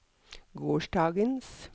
gårsdagens